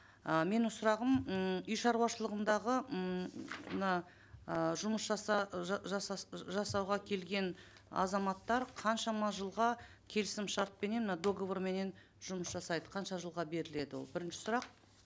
ы менің сұрағым ммм үй шаруашылығындағы ммм мына ыыы жұмыс жаса жасауға келген азаматтар қаншама жылға келісімшартпенен мына договорменен жұмыс жасайды қанша жылға беріледі ол бірінші сұрақ